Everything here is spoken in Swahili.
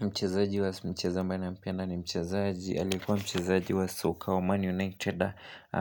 Mchezaji wa mchezaji wa mchazaji ambae na mpenda ni mchezaji. Alikuwa mchezaji wa soka wa man united.